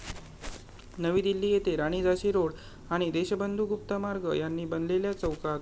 नवी दिल्ली येथे 'राणी झाशी रोड आणि देशबंधू गुप्ता मार्ग' यांनी बनलेल्या चौकात.